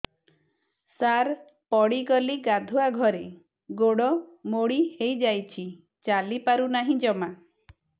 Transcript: ସାର ପଡ଼ିଗଲି ଗାଧୁଆଘରେ ଗୋଡ ମୋଡି ହେଇଯାଇଛି ଚାଲିପାରୁ ନାହିଁ ଜମା